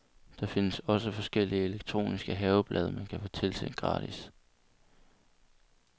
Der findes også forskellige elektroniske haveblade, man kan få tilsendt gratis.